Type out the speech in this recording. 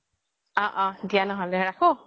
অ অ দিয়া ন্হ্'লে ৰাখো